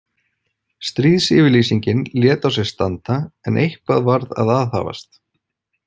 Stríðsyfirlýsingin lét á sér standa, en eitthvað varð að aðhafast.